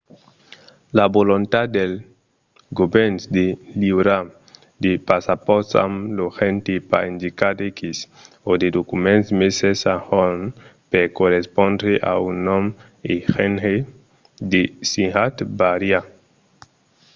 la volontat dels govèrns de liurar de passapòrts amb lo genre pas indicat x o de documents meses a jorn per correspondre a un nom e genre desirat vària